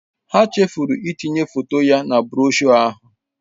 Ha chefuru itinye foto ya na broshuọ ahụ.